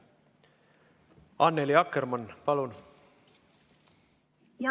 Annely Akkermann, palun!